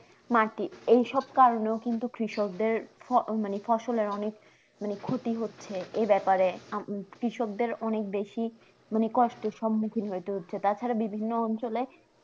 মাটি এইসব কারণেও কিন্তু কৃষকদের ফ মানে ফসলের অনেক মনে ক্ষতি হচ্ছে এ ব্যাপারে আপনি কৃষকদের অনেক বেশি মানে কষ্টের সম্মুখীন হতে হচ্ছে তাছাড়া বিভিন্ন অঞ্চলে